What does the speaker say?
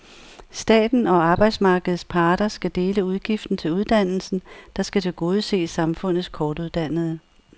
Staten og arbejdsmarkedets parter skal dele udgiften til uddannelsen, der skal tilgodese samfundets kortuddannede.